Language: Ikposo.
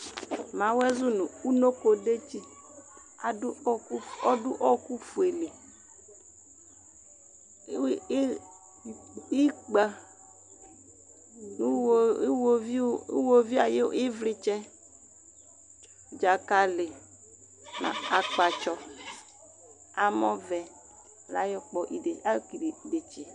Mawɔɛ zu nʋ unoko dzetsi adʋ, odʋ ɔkʋ fue li Ikpǝ nʋ ihovi ay'ivlitsɛ, dzakali n'akpatsɔ, amɔvɛ layɔ kpɔ, ayɔ kele idetsi yɛ